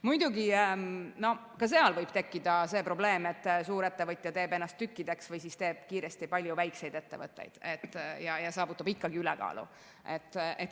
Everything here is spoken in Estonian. Muidugi, ka seal võib tekkida probleem, et suurettevõte teeb ennast tükkideks või teeb kiiresti palju väikseid ettevõtteid ja saavutab ikkagi ülekaalu.